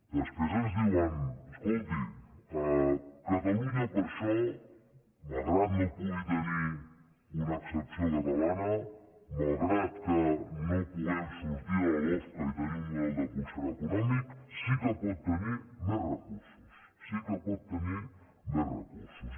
després ens diuen escolti catalunya per això malgrat que no pugui tenir una excepció catalana malgrat que no puguem sortir de la lofca i tenir un model de concert econòmic sí que pot tenir més recursos sí que pot tenir més recursos